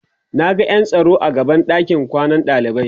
Naga ƴan tsaro a gaban ɗakin kwanan ɗalibai